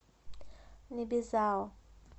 небезао